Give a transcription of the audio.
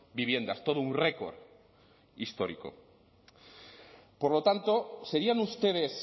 viviendas todo un récord histórico por lo tanto serían ustedes